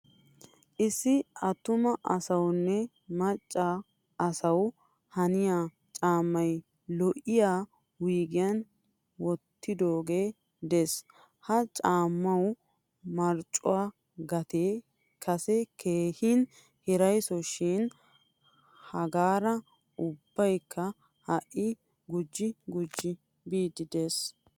Issi attuma asawunne macca asawu haniyaa caamay lo'iyaa wuygiyan wottidoge de'ees. Ha caamawu marccuwaa gatte kase keehin hirayso shin hagaara ubbaykka ha'i gujji gujji biidi de'ees.